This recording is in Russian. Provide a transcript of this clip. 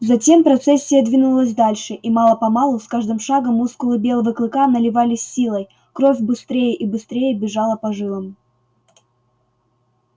затем процессия двинулась дальше и мало помалу с каждым шагом мускулы белого клыка наливались силой кровь быстрее и быстрее бежала по жилам